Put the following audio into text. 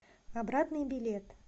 обратный билет